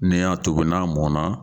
Ni n y'a tobi n'a mɔnna